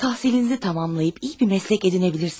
Təhsilinizi tamamlayıp iyi bir məslək edinəbilirsiniz.